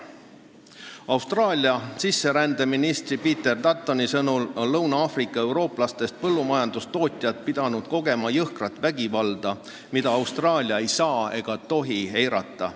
Austraalia sisserändeministri Peter Duttoni sõnul on Lõuna-Aafrika Vabariigi eurooplastest põllumajandustootjad pidanud kogema jõhkrat vägivalda, mida Austraalia ei saa ega tohi eirata.